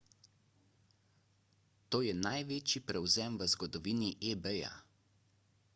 to je največji prevzem v zgodovini ebaya